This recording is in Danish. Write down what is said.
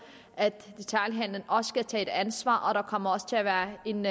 at detailhandelen også skal tage et ansvar og der kommer også til at være en